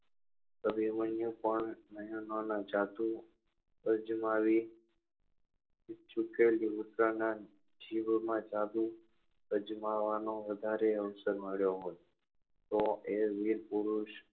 અભિમન્યુ પણ નાં જાદુ અજમાવી જીવો માં જાદુ અજમાવવા નો વધારે અવસર મળ્યો હોય તો એ વીર પુરુષ